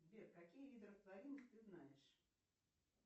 сбер какие виды растворимых ты знаешь